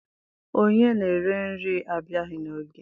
Onye na-ere nri abịaghị n'oge.